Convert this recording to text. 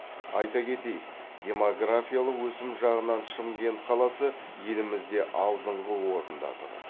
аита кетеиік демографиялық өсім жағынан шымкент қаласы елімізде алдыңғы орында тұр